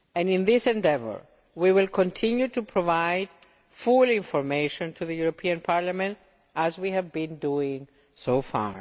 In this endeavour, we will continue to provide full information to Parliament, as we have been doing so far.